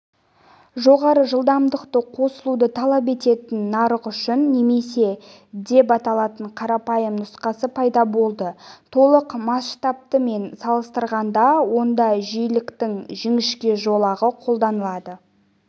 жоғары жылдамдықты қосылуды талап ететін нарық үшін немесе деп аталатын қарапайым нұсқасы пайда болды толық масштабты мен салыстырғанда онда жиіліктің жіңішке жолағы қолданылады